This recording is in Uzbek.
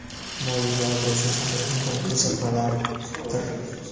moli va obro‘sini saqlash muhim ko‘rsatmalardir.